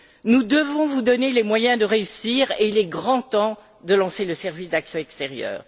Nous devons vous donner les moyens de réussir, il est grand temps de lancer le service d'action extérieure.